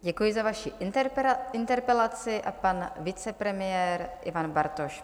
Děkuji za vaši interpelaci a pan vicepremiér Ivan Bartoš.